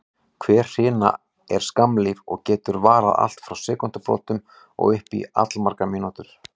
Hver hrina er skammlíf og getur varað allt frá sekúndubrotum og upp í allmargar mínútur.